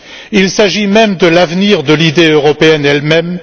Il s'agit même de l'avenir de l'idée européenne elle même.